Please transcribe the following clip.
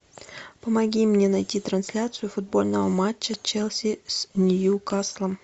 помоги мне найти трансляцию футбольного матча челси с ньюкаслом